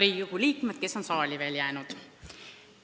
Head Riigikogu liikmed, kes te olete veel saali jäänud!